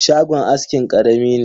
Shagon askin karami ne.